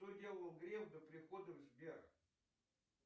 что делал греф до прихода в сбер